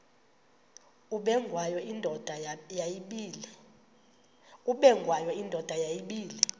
ubengwayo indoda yayibile